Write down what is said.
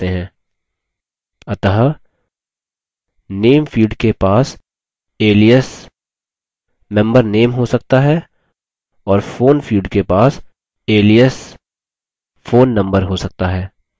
अतः name field के पास alias member name हो सकता है और phone field के पास alias phone number हो सकता है